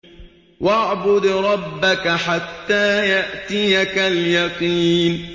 وَاعْبُدْ رَبَّكَ حَتَّىٰ يَأْتِيَكَ الْيَقِينُ